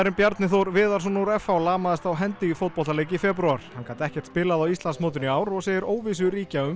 Bjarni Þór Viðarsson úr f h lamaðist á hendi í fótboltaleik í febrúar hann gat ekkert spilað á Íslandsmótinu í ár og segir óvissu ríkja um